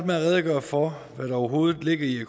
redegøre for hvad der overhovedet ligger i at